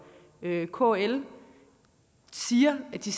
og kl siger at de